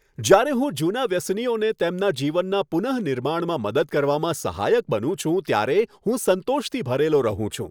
જ્યારે હું જૂનાં વ્યસનીઓને તેમના જીવનના પુનઃનિર્માણમાં મદદ કરવામાં સહાયક બનું છું, ત્યારે હું સંતોષથી ભરેલો રહું છું.